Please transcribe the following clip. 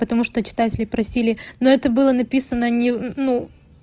потому что считается ли просили но это было написано не ну